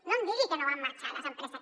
no em digui que no van marxar les empreses